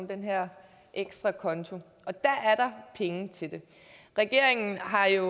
den her ekstra konto og der er der penge til det regeringen har jo